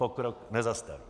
Pokrok nezastavíš.